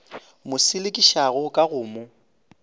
mo selekišago ka go mo